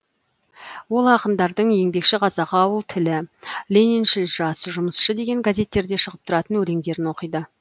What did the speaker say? ол ақындардың еңбекші қазақ ауыл тілі лениншіл жас жұмысшы деген газеттерде шығып тұратын өлеңдерін оқиды